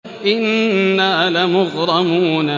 إِنَّا لَمُغْرَمُونَ